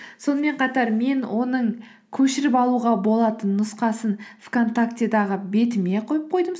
сонымен қатар мен оның көшіріп алуға болатын нұсқасын вконтактедегі бетіме қойып қойдым